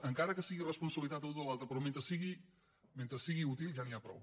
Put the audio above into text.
encara que si·gui responsabilitat d’un o l’altre però mentre sigui útil ja n’hi ha prou